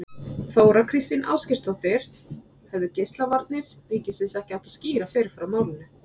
Þóra Kristín Ásgeirsdóttir: Hefðu Geislavarnir ríkisins ekki átt að skýra fyrr frá málinu?